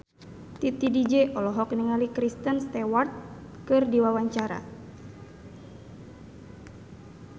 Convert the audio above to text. Titi DJ olohok ningali Kristen Stewart keur diwawancara